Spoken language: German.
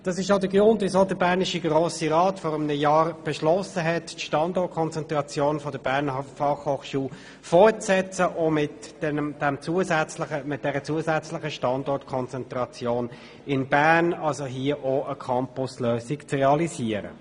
Dies ist auch der Grund, weshalb der bernische Grosse Rat vor einem Jahr beschlossen hat, die Standortkonzentration der BFH fortzusetzen, auch mit der zusätzlichen Standortkonzentration in Bern, um hier eine Campus-Lösung zu realisieren.